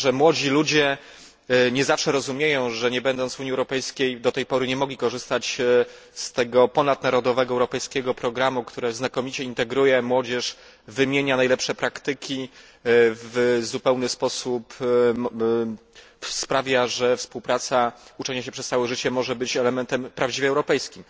Myślę, że młodzi ludzie nie zawsze rozumieją, że nie będąc w Unii Europejskiej do tej pory nie mogli korzystać z tego ponadnarodowego, europejskiego programu, który znakomicie integruje młodzież, wymienia najlepsze praktyki, w pełni sprawia, że współpraca, uczenie się przez całe życie może być elementem prawdziwie europejskim.